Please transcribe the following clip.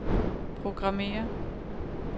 programmér